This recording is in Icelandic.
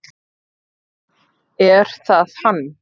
Er það hann?